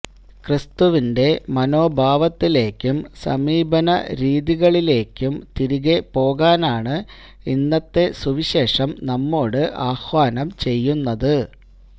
ക്രിസ്തുവിന്റെ മനോഭാവത്തിലേക്കും സമീപനരീതികളിലേക്കും തിരികെ പോകാനാണ് ഇന്നത്തെ സുവിശേഷം നമ്മോട് ആഹ്വാനം ചെയ്യുന്നത്